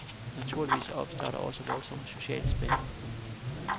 Naturligvis opstår der også voldsomme sociale spændinger.